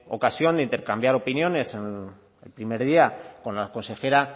ocasión de intercambiar opiniones el primer día con la consejera